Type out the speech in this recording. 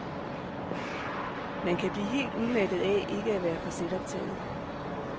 Man kan blive helt udmattet af ikke at være for selvoptaget.